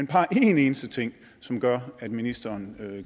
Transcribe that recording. bare en eneste ting som gør at ministeren